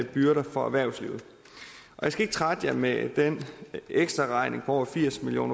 byrder for erhvervslivet jeg skal ikke trætte jer med den ekstraregning på over firs million